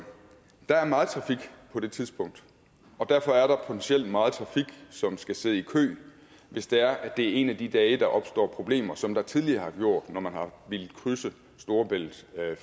der er meget trafik på det tidspunkt og derfor er der potentielt meget trafik som skal sidde i kø hvis det er at det er en af de dage hvor der opstår problemer som der tidligere har gjort når man har villet krydse storebæltsbroen